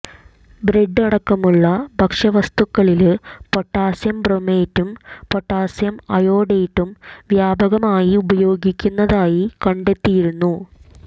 bread അടക്കമുള്ള ഭക്ഷ്യവസ്തുക്കളില് potassium ബ്രോമേറ്റും പൊട്ടാസ്യം അയോഡേറ്റും വ്യാപകമായി ഉപയോഗിക്കുന്നതായി കണ്ടെത്തിയിരുന്നു